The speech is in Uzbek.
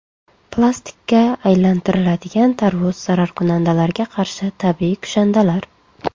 Plastikka aylantiriladigan tarvuz, zararkunandalarga qarshi tabiiy kushandalar.